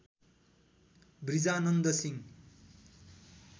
Vrijanand Singh